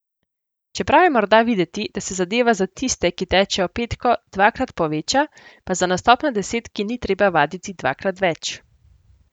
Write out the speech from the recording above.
Čeprav je morda videti, da se zadeva za tiste, ki tečejo petko, dvakrat poveča, pa za nastop na desetki ni treba vaditi dvakrat več.